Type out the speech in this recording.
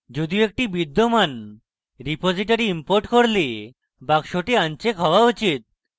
যদিও একটি বিদ্যমান repository importing করলে box আনচেক হওয়া উচিত